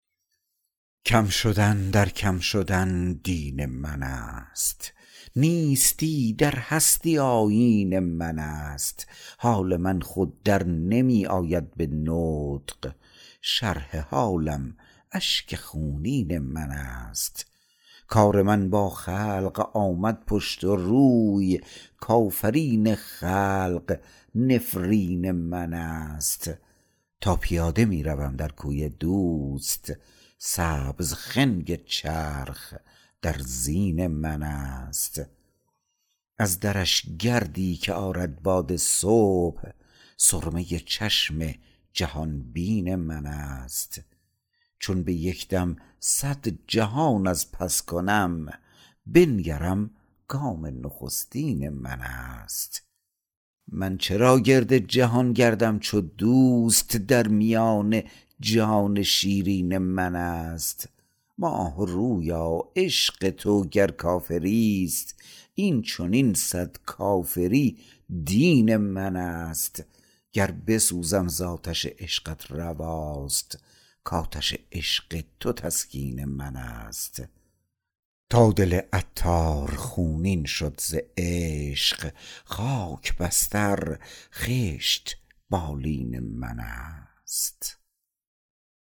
کم شدن در کم شدن دین من است نیستی در هستی آیین من است حال من خود در نمی آید به نطق شرح حالم اشک خونین من است کار من با خلق آمد پشت و روی کافرین خلق نفرین من است تا پیاده می روم در کوی دوست سبز خنگ چرخ در زین من است از درش گردی که آرد باد صبح سرمه چشم جهان بین من است چون به یک دم صد جهان از پس کنم بنگرم گام نخستین من است من چرا گرد جهان گردم چو دوست در میان جان شیرین من است ماه رویا عشق تو گر کافری است این چنین صد کافری دین من است گر بسوزم زآتش عشقت رواست کآتش عشق تو تسکین من است تا دل عطار خونین شد ز عشق خاک بستر خشت بالین من است